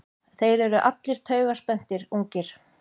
Þeir eru allir taugaspenntir, ungir.